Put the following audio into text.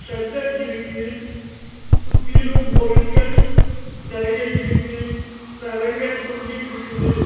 Shutter இருக்கு சுத்திலு பொருட்கள் நெறைய இருக்கு சரங்க தொங்கிட்ருக்குது.